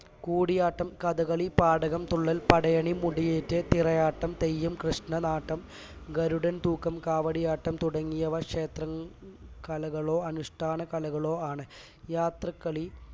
കൂടിയാട്ടം കഥകളി പാഠകം തുള്ളൽ പടയണി മുടിയേറ്റ് തിറയാട്ടം തെയ്യം കൃഷ്ണനാട്ടം ഗരുഡൻ തൂക്കം കാവടിയാട്ടം തുടങ്ങിയവ ക്ഷേത്രകലകളോ അനുഷ്ഠാന കലകളോ ആണ് യാത്രക്കളി